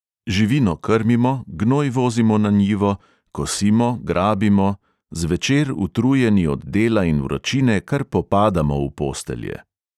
Živino krmimo, gnoj vozimo na njivo, kosimo, grabimo, zvečer utrujeni od dela in vročine kar popadamo v postelje.